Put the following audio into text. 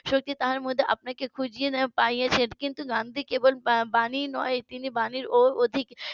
. মধ্যে তার মধ্যে আপনাকে খুঁজে পাইয়াছেন কিন্তু গান্ধী কেবল বাণী নয় তিনি বাণীর অধিক